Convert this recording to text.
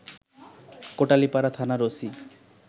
কোটালীপাড়া থানার ওসি